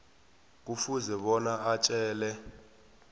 kufuze bona atjele